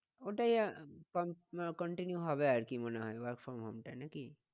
ওটাই continue হবে আর কি মনে হয় work from home টাই নাকি?